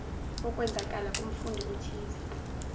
okwenzakala kumfundi othize